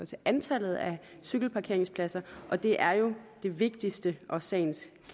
til antallet af cykelparkeringspladser og det er jo det vigtigste og sagens